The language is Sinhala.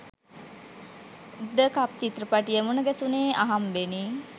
ද කප් චිත්‍රපටය මුණගැසුනේ අහම්බෙනි